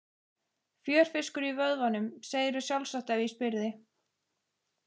Fjörfiskur í vöðvunum, segðirðu sjálfsagt ef ég spyrði.